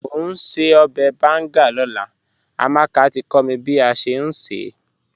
Mò n ṣẹ̀ ọbẹ̀ bàngà lọ́lá, Amàkà tí kò mí bí a ṣẹ̀ n ṣẹ́.